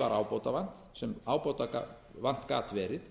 var ábótavant sem ábótavant gat verið